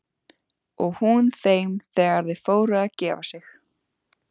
Og hún þeim þegar þau fóru að gefa sig.